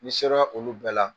Ni sera olu bɛɛ la